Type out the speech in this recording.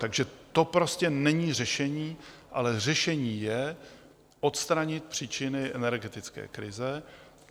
Takže to prostě není řešení, ale řešení je odstranit příčiny energetické krize.